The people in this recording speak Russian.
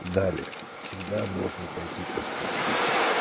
далее всегда можно пойти покушать